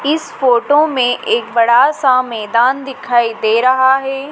इस फोटो में एक बड़ा सा मैदान दिखाई दे रहा है।